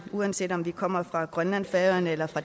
uanset om vi kommer fra grønland færøerne eller